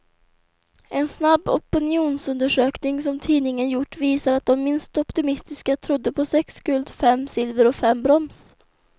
En snabb opinionsundersökning som tidningen gjort visar att de minst optimistiska trodde på sex guld, fem silver och fem brons.